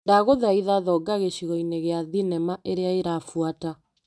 Ndagũthaitha thonga gĩcigo-inĩ gĩa thinema ĩrĩa ĩrabuata .